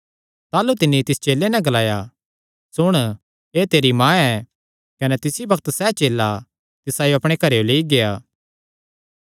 ताह़लू तिन्नी तिस चेले नैं ग्लाया सुण एह़ तेरी माँ ऐ कने तिसी बग्त सैह़ चेला तिसायो अपणे घरेयो लेई गेआ